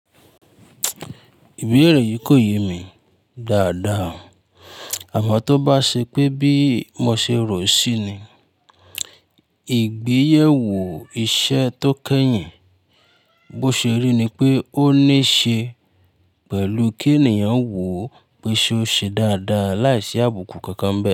Ìbéèrè yìí kò yé mi dáadáa àmọ́ tó bá ṣe pé bí mo ṣe rò ó ṣí ni, ìgbéyèwò iṣẹ́ tó kẹ́yìn bó ṣe rí ni pé ó ní ṣe pẹ̀lú kí ènìyàn wò pé ṣe ó ṣe dáadáa láìsí àbùkù kankan bẹ́ẹ̀.